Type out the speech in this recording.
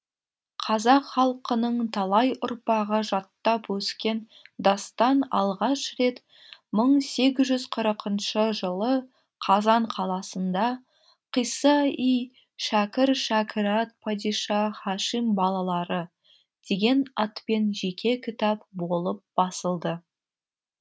қазақ халқының талай ұрпағы жаттап өскен дастан алғаш рет мың сегіз жүз қырықыншы жылы қазан қаласында қисса и шәкір шәкірат падиша һашим балалары деген атпен жеке кітап болып басылды